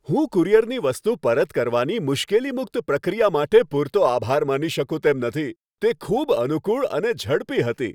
હું કુરિયરની વસ્તુ પરત કરવાની મુશ્કેલી મુક્ત પ્રક્રિયા માટે પૂરતો આભાર માની શકું તેમ નથી, તે ખૂબ અનુકૂળ અને ઝડપી હતી.